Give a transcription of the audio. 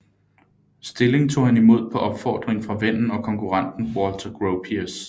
Stilling tog han imod på opfordring fra vennen og konkurrenten Walter Gropius